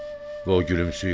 Və o gülümsüyür.